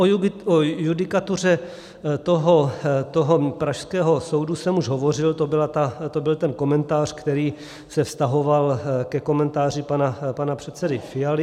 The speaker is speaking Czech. O judikatuře toho pražského soudu jsem už hovořil, to byl ten komentář, který se vztahoval ke komentáři pana předsedy Fialy.